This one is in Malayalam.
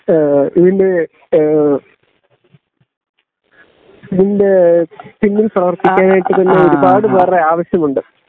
ഇതിന്റെ ഇതിന്റെ പിന്നിൽ പ്രവർത്തിക്കാനായിട്ട് ഒരു പാട് പേരുടെ ആവശ്യമുണ്ട്